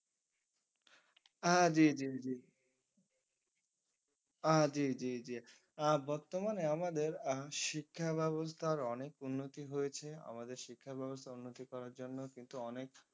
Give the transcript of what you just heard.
আহ জি জি জি আহ জি জি জি আহ বর্তমানে আমাদের আহ শিক্ষা ব্যাবস্থার অনেক উন্নতি হয়েছে আমাদের শিক্ষা ব্যবস্থা উন্নতি করার জন্য কিন্তু অনেক